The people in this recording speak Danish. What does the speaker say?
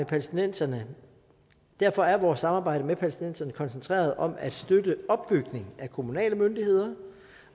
palæstinenserne derfor er vores samarbejde med palæstinenserne koncentreret om at støtte opbygningen af kommunale myndigheder